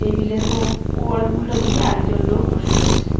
Table এর ও-ওল-উল্টোদিকে আর একজন লোক বসে রয়েছে.